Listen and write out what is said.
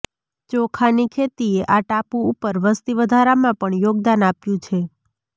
ચોખાની ખેતીએ આ ટાપુ ઉપર વસ્તી વધારામાં પણ યોગદાન આપ્યું છે